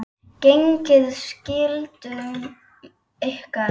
Gegnið skyldum ykkar!